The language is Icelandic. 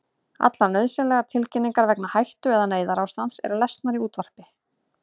Allar nauðsynlegar tilkynningar vegna hættu- eða neyðarástands eru lesnar í útvarpi.